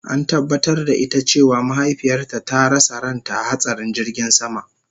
An tabatar da ita cewa mahaifiyarta ta rasa ranta a hatsarin jirgin sama